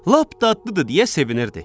Lap dadlıdır deyə sevinirdi.